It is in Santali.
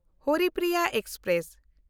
ᱦᱚᱨᱤᱯᱨᱤᱭᱟ ᱮᱠᱥᱯᱨᱮᱥ